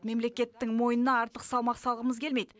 мемлекеттің мойнына артық салмақ салғымыз келмейді